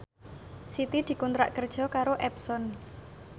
Siti dikontrak kerja karo Epson